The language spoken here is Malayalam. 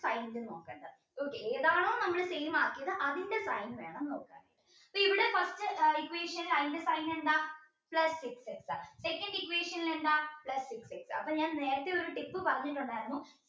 okay ഏതാണോ നമ്മൾ same ആക്കിയത് അതിൻറെ sign വേണം നോക്കാൻ ഇപ്പോൾ ഇവിടെ first equation sign എന്താ plus six x second equation എന്താ അപ്പോൾ ഞാൻ നേരത്തെ ഒരു tip പറഞ്ഞിട്ടുണ്ടായിരുന്നു